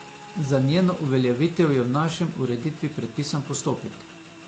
Za njeno uveljavitev je v naši ureditvi predpisan postopek.